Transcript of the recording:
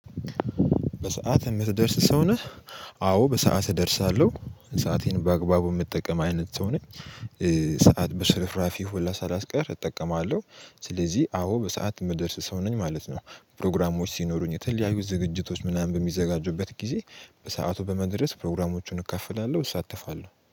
በሰአት የምትደርስ ሰው ነህ? አዎ በሰአት እደርሳለሁ ሰአቴን በአግባቡ የምጠቀም አይነት ሰው ነኝ ሰዓት በሽርራፊ ሁላ ሳላስቀር እጠቀማለሁ ስለዚህ አዎ በሰአት የምደርስ ሰው ነኝ ማለት ነው ፕሮግራሞች ሲኖሩኝ የተለያዩ ዝግጅቶች ምናምን በሚዘጋጁበት ጊዜ በሰአቱ በመድረስ ፕሮግራሞቹን እካፍላለሁ እሳተፋለሁ።